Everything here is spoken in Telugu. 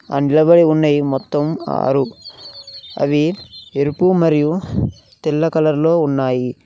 అండ్లబడి ఉన్నయి మొత్తం ఆరు అవి ఎరుపు మరియు తెల్ల కలర్ లో ఉన్నాయి.